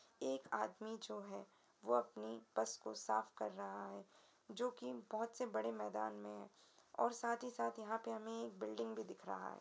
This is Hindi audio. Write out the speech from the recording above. एक आदमी जो है वह अपनी बस को साफ कर रहा है जो कि बोहोत से बड़े मैदान में है और साथ ही साथ यहाँ पर हमें एक बिल्डिंग भी दिख रहा है।